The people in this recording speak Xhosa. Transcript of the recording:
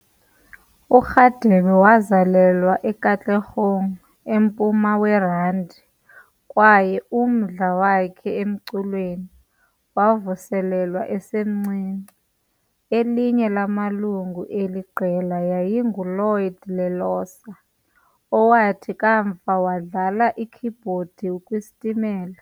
URadebe wazalelwa eKatlehong eMpuma weRandi kwaye umdla wakhe emculweni wavuselwa esemncinci. Elinye lamalungu eli qela yayinguLloyd Lelosa, owathi kamva wadlala ikhibhodi kwiStimela.